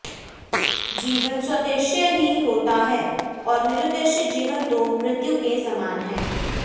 जीवन सोद्देश्य ही होता है और निरुद्देश्य जीवन तो मृत्यु के समान है